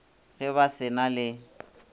ge ba se na le